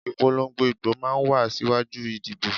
Ìpolongo ìbò máa ń wá síwájú ìdìbò